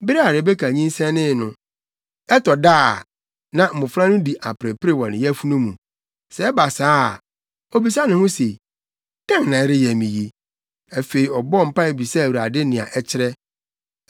Bere a Rebeka nyinsɛnee no, ɛtɔ da a, na mmofra no di aperepere wɔ ne yafunu mu. Sɛ ɛba saa a, obisa ne ho se, “Dɛn na ɛreyɛ me yi?” Afei, ɔbɔɔ mpae bisaa Awurade nea ɛkyerɛ.